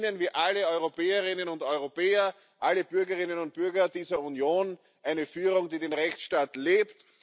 Sie verdienen, wie alle Europäerinnen und Europäer, alle Bürgerinnen und Bürger dieser Union, eine Führung, die den Rechtsstaat